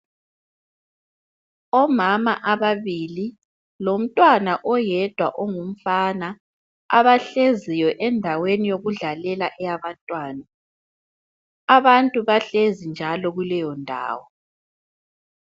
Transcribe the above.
Omama ababili lomntwana oyedwa ongumfana, abahleziyo endaweni yokudlalela eyabantwana. Abantu bahlezi njalo kuleyo ndawo.